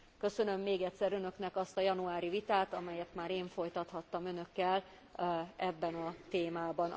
Köszönöm még egyszer Önöknek azt a januári vitát, amelyet már én folytathattam Önökkel ebben a témában.